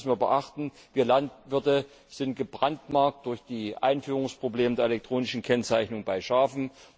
Denn eines müssen wir beachten Wir Landwirte sind gebrandmarkt durch die Einführungsprobleme bei der elektronischen Kennzeichnung von Schafen.